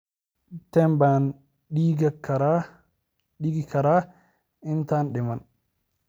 intee baan dhiigi karaa intaanan dhiman